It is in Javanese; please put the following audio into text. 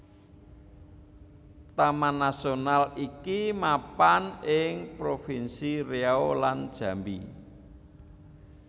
Taman Nasional iki mapan ing propinsi Riau lan Jambi